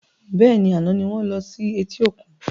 Bẹ́ẹ̀ni, àná ni wọn lọ sí eti òkun